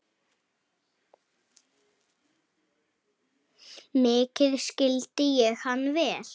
Mikið skildi ég hann vel.